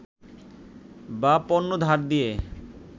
বা পণ্য ধার দিয়ে